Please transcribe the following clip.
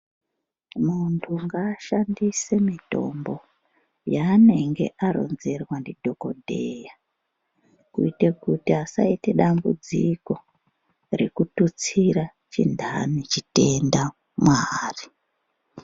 Muntu ngashandise mitombo yanenge aronzerwa na dhokodheya. Kuite kuti asayite dambudziko rekututsira chindani chitenda mwaari.